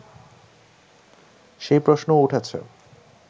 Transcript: সেই প্রশ্নও উঠেছে